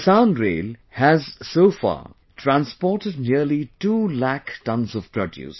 The Kisan Rail has so far transported nearly 2 lakh tonnes of produce